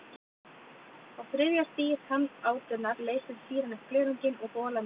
Á þriðja stigi tannátunnar leysir sýran upp glerunginn og hola myndast.